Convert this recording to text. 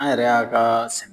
An yɛrɛ y'a ka sɛ